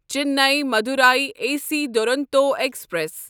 Chennai Madurai A C Duronto express